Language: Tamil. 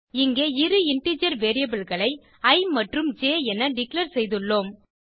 இங்கே இரு இன்டிஜர் variableகளை இ மற்றும் ஜ் என டிக்ளேர் செய்துள்ளோம்